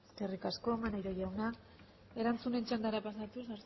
eskerrik asko maneiro jauna erantzunen txandara pasatuz